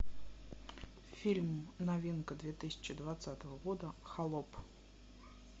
фильм новинка две тысячи двадцатого года холоп